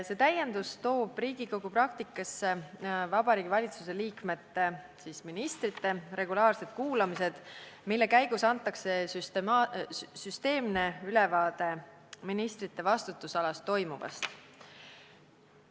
See täiendus toob Riigikogu praktikasse Vabariigi Valitsuse liikmete regulaarsed kuulamised, mille käigus antakse süsteemne ülevaade ministrite vastutusalas toimuvast.